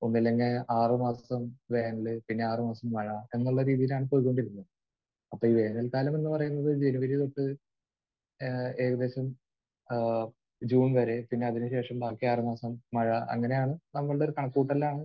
ഒന്നുമില്ലെങ്കിൽ ആറ് മാസം വേനൽ. പിന്നെ ആറ് മാസം മഴ എന്നുള്ള രീതിയിലാണ് പൊയ്ക്കൊണ്ടിരുന്നത്. അപ്പോൾ ഈ വേനൽ കാലമെന്ന് പറയുന്നത് ജനുവരി തൊട്ട് ഏഹ് ഏകദേശം ഏഹ് ജൂൺ വരെ. പിന്നെ അതിന് ശേഷം ബാക്കി ആറ് മാസം മഴ. അങ്ങനെയാണ് നമ്മളുടെ കണക്കുകൂട്ടലുകളിലാണ്